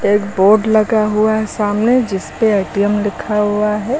Board लगा हुआ है सामने जिसपे ए_टी_एम लिखा हुआ है।